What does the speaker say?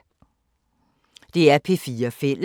DR P4 Fælles